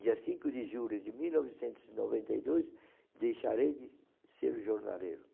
Dia cinco de julho de mil novecentos e noventa e dois, deixarei de ser jornaleiro.